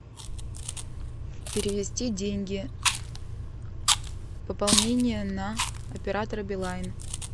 перевести деньги пополнение на оператора билайн